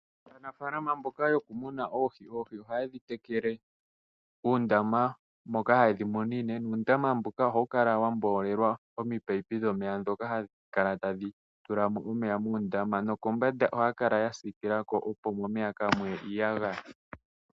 Aanafalama mboka yokumuna oohi, oohi ohaye dhi tekele muundama moka haye dhi munine nuundama mbuka ohawu kala wa mboolelwa omipayipi dhomeya ndhoka hadhi kala tadhi tula mo omeya muundama. Nokombanda ohaya kala ya siikila ko, opo momeya kaamu ye iiyagaya.